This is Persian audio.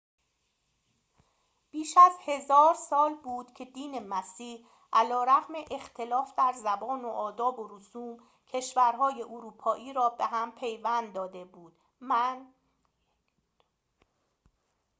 بیش از هزار سال بود که دین مسیح علیرغم اختلاف در زبان و آداب و رسوم کشورهای اروپایی را به هم پیوند داده بود من